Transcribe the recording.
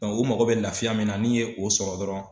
o mago bɛ laafiya min na n'i ye o sɔrɔ dɔrɔn